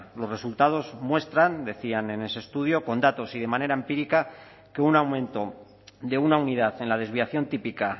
los resultados muestran decían en ese estudio con datos y de manera empírica que un aumento de una unidad en la desviación típica